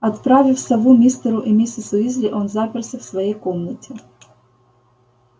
отправив сову мистеру и миссис уизли он заперся в своей комнате